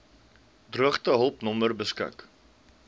droogtehulp nommer beskik